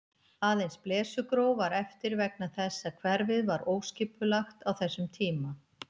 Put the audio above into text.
Aðeins Blesugróf var eftir vegna þess að hverfið var óskipulagt á þessum tíma.